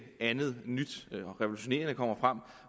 andet nyt og revolutionerende kommer frem